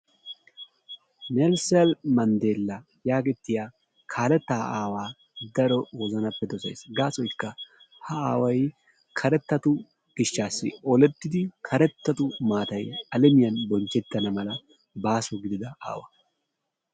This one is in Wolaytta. Nelson mandella yagetiya kaaletaa aawaa keehippe dossays ta gaassoyka ha aaway kerettatu gishshassi olettidi karettatu maatay alemiyaan bonchchetana mala gaaso gidida aawa.